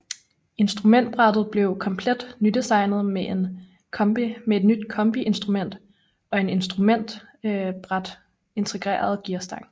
Instrumentbrættet blev komplet nydesignet med et nyt kombiinstrument og en i instrumentbrættet integreret gearstang